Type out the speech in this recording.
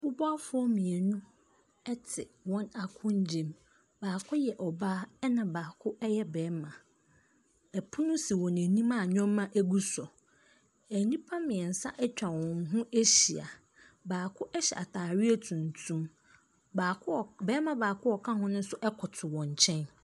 Mubuwafoɔ mmienu ɛte wɔn akongya mu. Baako yɛ ɔbaa ɛna baako ɛyɛ bɛɛma. Ɛpono si wɔn anim a nnoɔma egu so. Nnipa mmeɛnsa atwa wɔn ho ahyia. Baako ɛhyɛ ataareɛ tuntum. Bɛɛma baako a ɔka ho no so ɛkoto wɔn kyɛn.